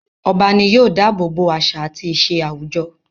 Ọba ní yóò dábòbò àṣà àti ìṣe àwùjọ.